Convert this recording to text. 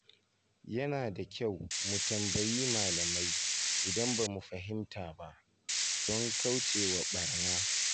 Yana da kyau mu tambayi malamai idan ba mu fahimta ba, don kaucewa ɓarna.